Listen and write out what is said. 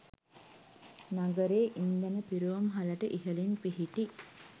නගරයේ ඉන්ධන පිරවුම් හලට ඉහළින් පිහිටි